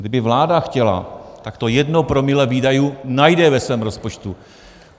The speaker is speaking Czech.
Kdyby vláda chtěla, tak to jedno promile výdajů najde ve svém rozpočtu.